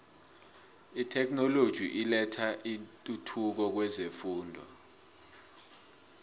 itheknoloji ilethe intuthuko kwezefundo